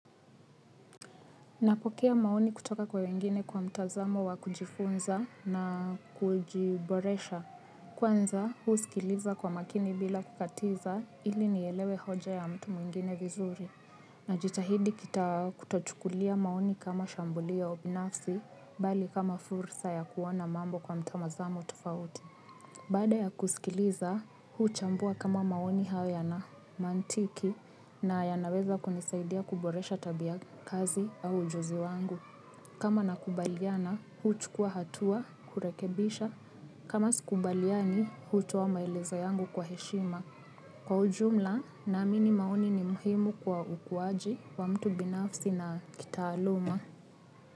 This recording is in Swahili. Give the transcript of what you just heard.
Napokea maoni kutoka kwa wengine kwa mtazamo wa kujifunza na kujiboresha. Kwanza husikiliza kwa makini bila kukatiza ili nielewe hoja ya mtu mwingine vizuri. Najitahidi kita kutochukulia maoni kama shambulio binafsi bali kama fursa ya kuona mambo kwa mtazamo tufauti. Baada ya kusikiliza huchambua kama maoni hayo yana mantiki na yanaweza kunisaidia kuboresha tabia hasi au ujuzi wangu. Kama nakubaliana, huchukua hatua, kurekebisha. Kama sikubaliani, hutoa maelezo yangu kwa heshima. Kwa ujumla, naamini maoni ni muhimu kwa ukuwaji wa mtu binafsi na kitaaluma.